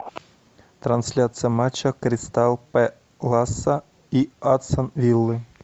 трансляция матча кристал пэласа и астон виллы